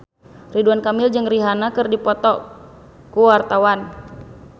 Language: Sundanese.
Ridwan Kamil jeung Rihanna keur dipoto ku wartawan